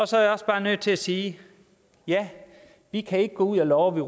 så er jeg også bare nødt til at sige at ja vi kan ikke gå ud og love